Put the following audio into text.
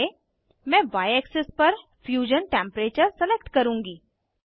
Y मैं y axis पर fusion temperature select करुँगी